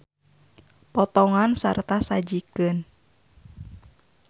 Potongan sarta sajikeun.